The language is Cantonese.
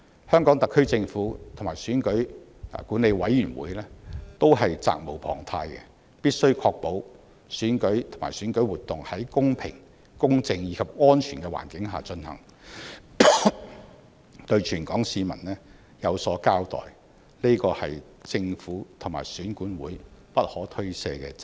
香港特區政府和選管會是責無旁貸，必須確保選舉及選舉活動在公平、公正及安全的環境下進行，對全港市民有所交代，這是政府和選管會不可推卸的責任。